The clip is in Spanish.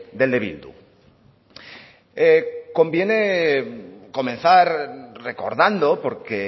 del de bildu conviene comenzar recordando porque